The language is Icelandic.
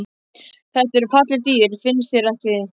Þetta eru falleg dýr, finnst þér ekki?